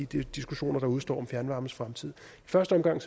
de diskussioner der udestår om fjernvarmens fremtid i første omgang